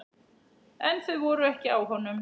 En þau voru ekki á honum!